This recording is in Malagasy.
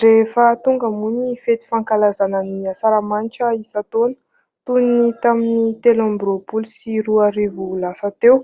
Rehefa tonga moa ny fety fankalazana ny asaramanitra isan-taona : toy ny tamin'ny telo amby roapolo sy roa arivo lasa teo,